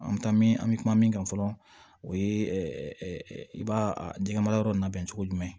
An bɛ taa min an bɛ kuma min kan fɔlɔ o ye i b'a denkɛ mara yɔrɔ labɛn cogo jumɛn